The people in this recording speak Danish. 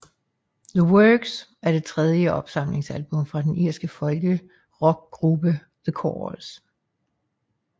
The Works er det tredje opsamlingsalbum fra den irske folkrockgruppe The Corrs